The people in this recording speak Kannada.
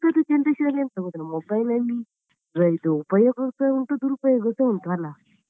ಈಗದ್ದು generation ಅಲ್ಲಿ ಎಂತ ಗೊತ್ತುಂಟಾ mobile ಇದು ಉಪಯೋಗ ಸಹ ಉಂಟು ದುರುಪಯೋಗ ಸಹ ಉಂಟು ಅಲ್ಲಾ.